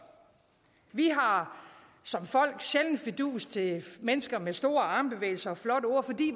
vi har som folk sjældent fidus til mennesker med store armbevægelser